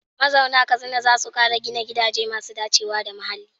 Mazauna Katsina za su kara gina gidaje masu dacewa da muhalli.